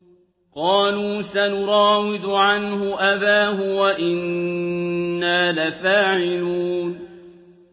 قَالُوا سَنُرَاوِدُ عَنْهُ أَبَاهُ وَإِنَّا لَفَاعِلُونَ